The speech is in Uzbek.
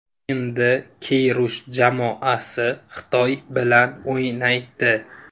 Endi Keyrush jamoasi Xitoy bilan o‘ynaydi .